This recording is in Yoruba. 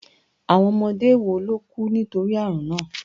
Àwọn ọmọdé mélòó ló kú nítorí àrùn náà